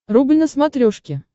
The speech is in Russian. рубль на смотрешке